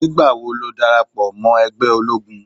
Nígbà wo darapọ̀ mọ́ iṣẹ́ ológun?